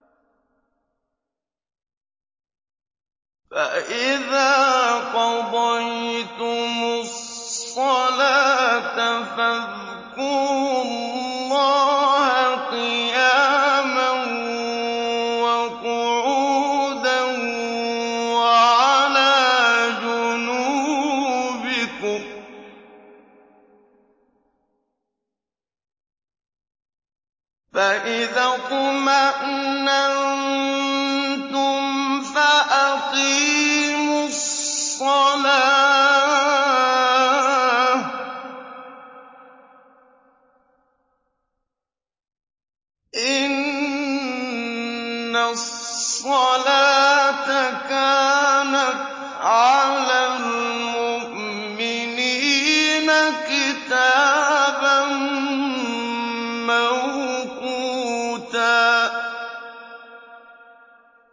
فَإِذَا قَضَيْتُمُ الصَّلَاةَ فَاذْكُرُوا اللَّهَ قِيَامًا وَقُعُودًا وَعَلَىٰ جُنُوبِكُمْ ۚ فَإِذَا اطْمَأْنَنتُمْ فَأَقِيمُوا الصَّلَاةَ ۚ إِنَّ الصَّلَاةَ كَانَتْ عَلَى الْمُؤْمِنِينَ كِتَابًا مَّوْقُوتًا